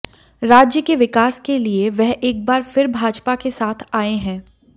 राज्य के विकास के लिए वह एक बार फिर भाजपा के साथ आए हैं